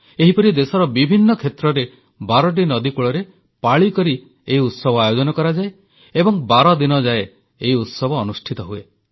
ଏହିପରି ଦେଶର ବିଭିନ୍ନ କ୍ଷେତ୍ରରେ ବାରଟି ନଦୀକୂଳରେ ପାଳିକରି ଏହି ଉତ୍ସବ ଆୟୋଜନ କରାଯାଏ ଏବଂ ବାରଦିନ ଯାଏ ଏହି ଉତ୍ସବ ଅନୁଷ୍ଠିତ ହୁଏ